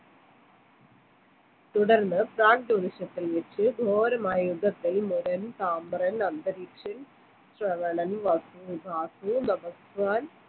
തുടർന്ന് ഘോരമായ യുദ്ധത്തിൽ മുരൻ സാമ്പ്രൻ അന്തരീക്ഷൻ ശ്രവണൻ നടത്താൻ